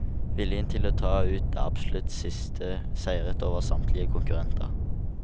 Viljen til å ta ut det absolutt siste seiret over samtlige konkurrenter.